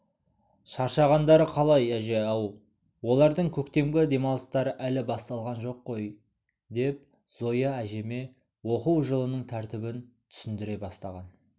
шаршағандары қалай әже-ау олардың көктемгі демалыстары әлі басталған жоқ қой деп зоя әжеме оқу жылының тәртібін түсіндіре бастаған